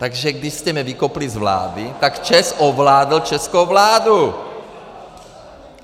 Takže když jste mě vykopli z vlády, tak ČEZ ovládl českou vládu!